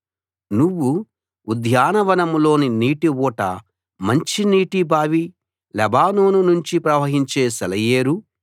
నువ్వు ఉద్యాన వనంలోని నీటి ఊట మంచినీటి బావి లెబానోను నుంచి ప్రవహించే సెలయేరు